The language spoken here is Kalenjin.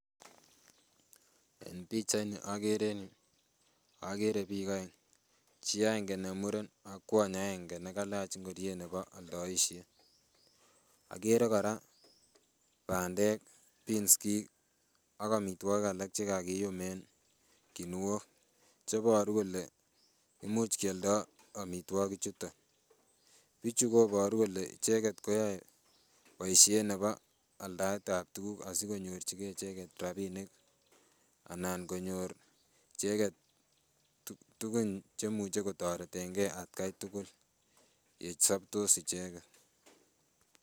En pichait ni okere en yuu okere biik oeng chii agenge ne muren ak kwony agenge nekalach ngoriet nebo oldoisiet. Okere kora bandek, peanskik ak amitwogik alak chekakiyum en kinuok cheboru kole imuch kioldoo amitwogik chuton. Bichu koboru kole icheket koyoe boisiet nebo aldaet ab tuguk asikonyorchigee icheket rapinik anan konyor icheket tugun chemuche kotoreten gee atkai tugul ye sobtos icheket